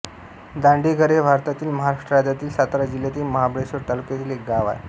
दांडेघर हे भारतातील महाराष्ट्र राज्यातील सातारा जिल्ह्यातील महाबळेश्वर तालुक्यातील एक गाव आहे